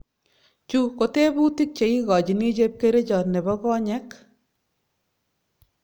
Chu ko tebutik che igochini chepkerichot nebo konyek